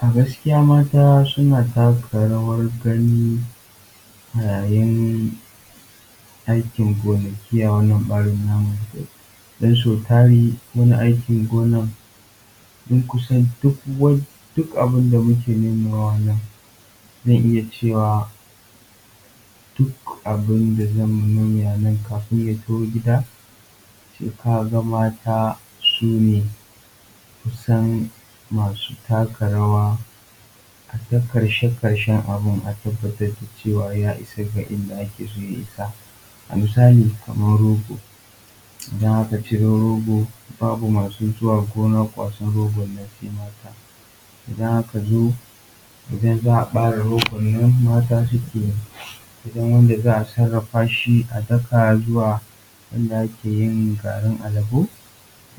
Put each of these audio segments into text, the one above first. A gaskiya mata suna taka rawar gani a yayin aikin gonaki a wannan ɓarin namu don sau tari wani aikin gona tun kusan duk abin da muke nomawa a nan zan iya cewa duk abin da za mu noma a nan kafin ya taho gida sai ka ga mata sune kusan masu taka rawa a ta ƙarshe ƙarshen abin a tabatar da cewa ya isa ga inda ake so ya isa. A misali kamar rogo, idan aka ciro rogo babu masu zuwa gona kwasar rogon nan sai mata. Idan aka zo idan za a ɓare rogon nan mata suke. Idan wanda za a sarafa shi a daka zuwa inda ake yin garin alabo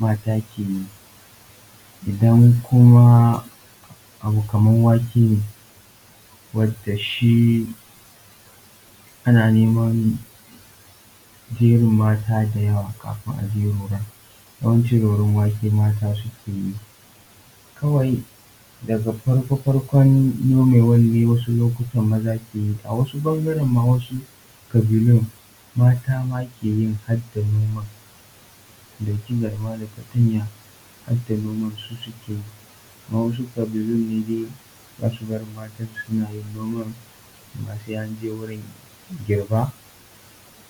mata ke yi. Idan kuma abu kamar wake ne wanda shi ana neman jerin mata da yawa kafi aje roron. Yawanci roron wake mata suke yi, kawai daga farko farkon nomewan ne wasu lokutanan maza ke yi a wasu ɓangaran ma wasu ƙabilun mata ma ke yin harda noma su ɗauki garma da fatarya harda noman su suke yi. Amma wasu ƙabilun ne dai ba su barin matansu suna yin noman, amma sai an je wurin girba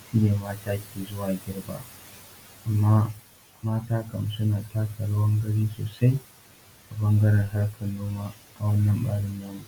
shi ne mata ke zuwa girba. Amma mata kam suna taka rawar gani sosai ta ɓangaran harkan noma a wannan ɓarin namu.